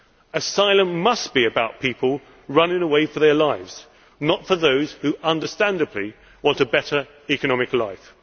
Asylum must be about people running for their lives, not for those who understandably want a better economic life.